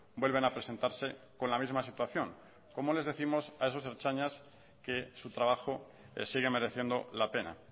vuelven a presentarse con la misma situación cómo les décimos a esos ertzainas que su trabajo sigue mereciendo la pena